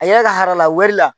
A yɛrɛ ka harala wari la.